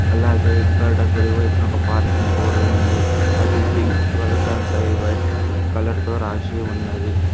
అలాగే ఇక్కడ కుడివైపున ఒక పార్కింగ్ బోర్డు ఉంది అది పింక్ కలర్ దానిపై వైట్ కలర్ తో రాసి ఉన్నది.